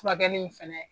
Furakɛli in fɛnɛ